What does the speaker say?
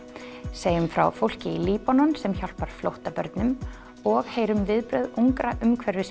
segjum frá fólki í Líbanon sem hjálpar flóttabörnum og heyrum svo viðbrögð ungra